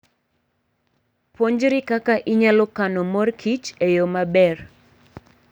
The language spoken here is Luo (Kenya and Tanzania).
Puonjri kaka inyalo kano mor kich e yo maber.